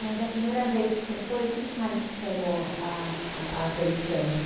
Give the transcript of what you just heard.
Mas a primeira vez que você foi, o que que mais te chamou a a atenção assim?